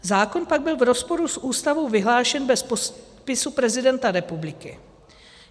Zákon pak byl v rozporu s Ústavou vyhlášen bez podpisu prezidenta republiky.